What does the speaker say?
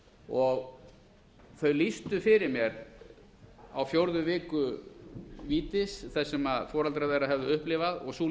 og þau lýstu fyrir mér á fjórðu viku vítis þar sem foreldrar þess höfðu upplifað og sú